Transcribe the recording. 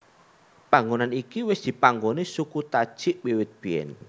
Panggonan iki wis dipanggoni suku Tajik wiwit biyen